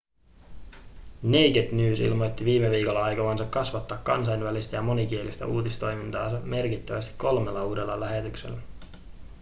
naked news ilmoitti viime viikolla aikovansa kasvattaa kansainvälistä ja monikielistä uutistoimintaansa merkittävästi kolmella uudella lähetyksellä